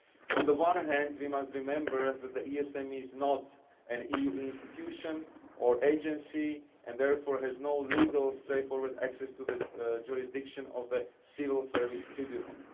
On the one hand, we must remember that the ESM is not an EU institution or agency and therefore has no legal, straightforward access to the jurisdiction of the Civil Service Tribunal.